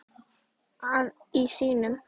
að í syni mínum